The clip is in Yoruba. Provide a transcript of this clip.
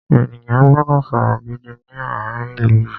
Ènìyàn gbọ́dọ̀ ṣọ́ra gidi ní àárín ilú yìí.